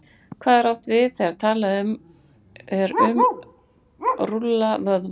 Hvað er átt við, þegar talað er um að rúlla vöðva?